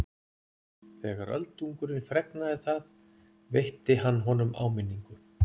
Þegar Öldungurinn fregnaði það veitti hann honum áminningu.